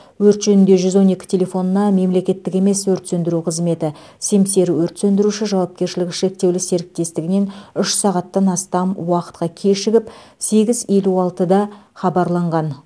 өрт жөнінде жүз он екі телефонына мемлекеттік емес өрт сөндіру қызметі семсер өрт сөндіруші жауапкершілігі шектеулі серіктестігінен үш сағаттан астам уақытқа кешігіп сегіз елу алтыда хабарланған